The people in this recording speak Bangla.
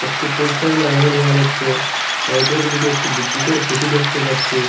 একটি পোস্টারও লাগানো দেখা যাচ্ছে সাইডের দিকে একটি বিদ্যুতের খুঁটি দেখতে পাচ্ছি।